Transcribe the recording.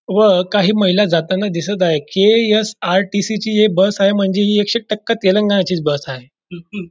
व काही महिला जाताना दिसत आहे के.यस.आर.टी.सी.टी चि हि बस आहे म्हणजे हि एकशे एक टक्का हि तेलंगणाचीच बस आहे.